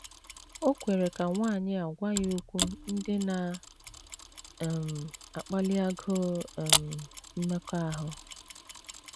O kwere ka nwanyị a gwa ya okwu ndị na um - akpali agụụ um mmekọahụ.